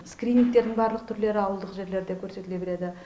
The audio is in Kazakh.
скринингтердің барлық түрлері ауылдық жерлерде көрсетіле береді